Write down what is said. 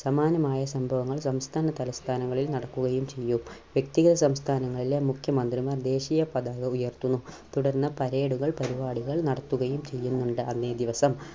സമാനമായ സംഭവങ്ങൾ സംസ്ഥാന തലസ്ഥാനങ്ങളിൽ നടക്കുകയും ചെയ്യും. വ്യക്തികൾ സംസ്ഥാനങ്ങളിലെ മുഖ്യമന്ത്രിമാർ ദേശീയ പതാക ഉയർത്തുന്നു. തുടർന്ന് parade കൾ പരിപാടികൾ നടത്തുകയും ചെയ്യുന്നുണ്ട് അന്നേ ദിവസം.